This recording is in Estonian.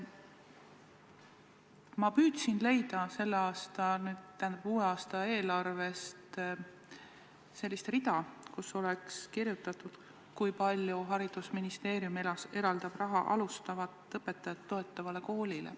Ma püüdsin uue aasta eelarvest leida rida, kus oleks kirjas, kui palju haridusministeerium eraldab raha tööd alustavat õpetajat toetavale koolile.